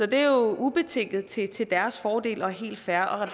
det er jo ubetinget til til deres fordel og helt fair og